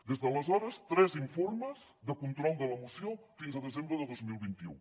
des d’aleshores tres informes de control de la moció fins al desembre de dos mil vint u